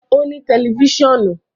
O ni tẹlifisiọnu kan